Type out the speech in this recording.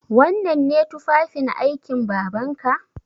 Wannan ne tufafin aikin Babanka?